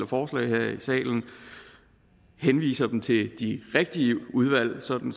forslag her i salen henviser dem til de rigtige udvalg sådan